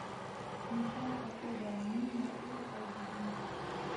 включай особое мнение фул айч ди